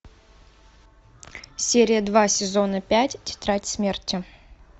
серия два сезона пять тетрадь смерти